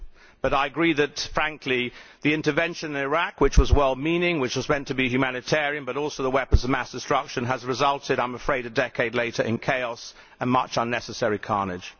But I agree that, frankly, the intervention in Iraq, which was well meaning, which was meant to be humanitarian, but which was also in search of weapons of mass destruction, has resulted, I am afraid, a decade later in chaos and much unnecessary carnage.